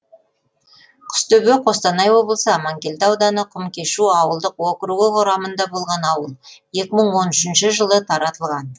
құстөбе қостанай облысы амангелді ауданы құмкешу ауылдық округі құрамында болған ауыл екі мың он үшінші жылы таратылған